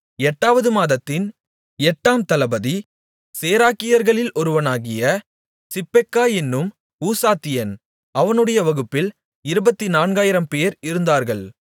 எட்டாவது மாதத்தின் எட்டாம் தளபதி சேராகியர்களில் ஒருவனாகிய சிப்பெக்காய் என்னும் ஊசாத்தியன் அவனுடைய வகுப்பில் இருபத்துநான்காயிரம்பேர் இருந்தார்கள்